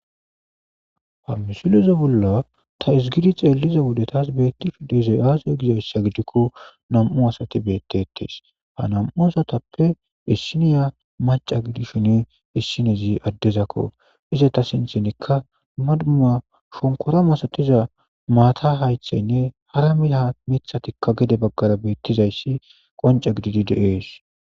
ha misileze bolla tas gidi xeelliza wode taas beettishu diizay aaziyo gizayssa gidikko nam7u asati beettetees ha nam7u asatappe issiniya maca gidi shini issinezi addezakko ize ta sinthinikka madmuma shonkora masatiza maata haythaynne hara milaha mithatikka gede baggara beettizayssi qanca gididi deees